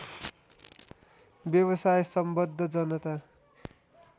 व्यवसाय सम्बद्ध जनता